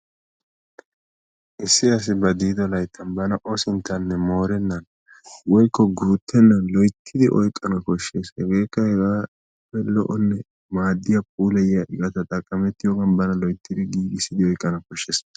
Issi asi ba diido layttan bana o sinttaaninne moorennan woykko guuttennan loyttidi oyqqana koshshes. Hegeekka hegaappe lo"onne maaddiya puulayiya iqata xaqqamettiyogan bana loyttidi giigissidi oyqqana koshshes.